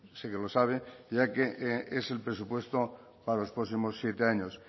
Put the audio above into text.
sé que lo sabe ya que es el presupuesto para los próximos siete años